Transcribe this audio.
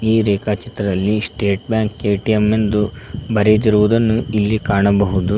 ಈ ರೇಖಾ ಚಿತ್ರದಲ್ಲಿ ಸ್ಟೇಟ್ ಬ್ಯಾಂಕ್ ಎ_ಟಿ_ಎಂ ಎಂದು ಬರೆದಿರುವುದನ್ನು ಇಲ್ಲಿ ಕಾಣಬಹುದು.